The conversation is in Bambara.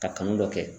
Ka kanu dɔ kɛ